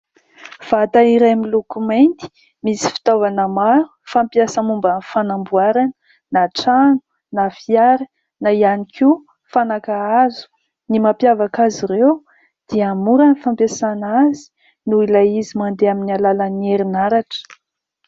Vata iray miloko mainty misy fitaovana maro fampiasa momba ny fanamboarana na trano, na fiara, na ihany koa fanaka hazo. Ny mampiavaka azy ireo dia mora ny fampiasana azy noho ilay izy mandeha amin'ny alalan'ny herinaratra.